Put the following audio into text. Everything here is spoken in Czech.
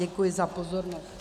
Děkuji za pozornost.